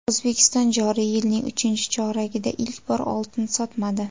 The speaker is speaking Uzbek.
O‘zbekiston joriy yilning uchinchi choragida ilk bor oltin sotmadi.